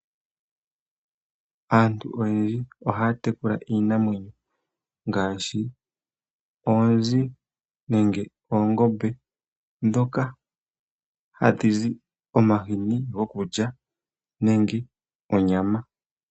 Aantu oyendji ohaa tekula iinamwenyo ngaashi oonzi nenge oongombe dhoka hadhizi omahini gokulya nenge onyama.